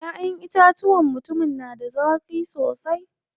Ƴaʼƴen itacuwan mutumin na da zaƙi sosai.